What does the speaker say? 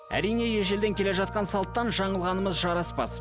әрине ежелден келе жатқан салттан жаңылғанымыз жараспас